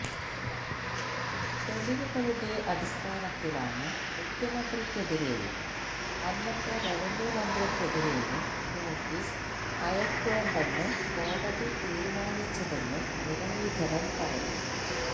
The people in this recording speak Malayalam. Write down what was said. തെളിവുകളുടെ അടിസ്ഥാനത്തിലാണ് മുഖ്യമന്ത്രിക്കെതിരെയും അന്നത്തെ റവന്യൂ മന്ത്രിക്കെതിരെയും നോട്ടീസ് അയക്കേണ്ടെന്ന് കോടതി തീരുമാനിച്ചതെന്നും മുരളീധരൻ പറഞ്ഞു